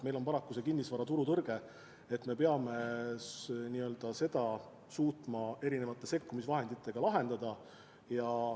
Meil on paraku kinnisvaraturu tõrge ja me peame suutma selle erinevate sekkumisvahenditega lahendada.